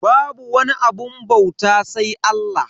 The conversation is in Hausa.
Babu wani abun bauta sai Allah.